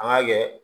An ka kɛ